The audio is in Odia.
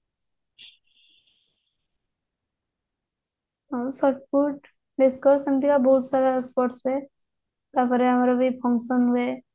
ଆଉ ସବୁ discuss ଏମିତି ବହୁତ ସାରା sports ହୁଏ ତାପରେ ଆମର ବି function ହୁଏ